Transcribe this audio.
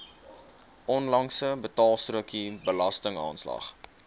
onlangse betaalstrokie belastingaanslag